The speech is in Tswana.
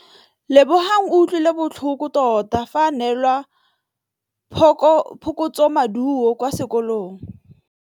Lebogang o utlwile botlhoko tota fa a neelwa phokotsômaduô kwa sekolong.